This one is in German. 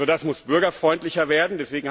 Das muss bürgerfreundlicher werden.